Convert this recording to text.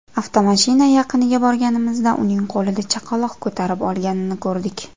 Avtomashina yaqiniga borganimizda, uning qo‘lida chaqaloq ko‘tarib olganini ko‘rdik”.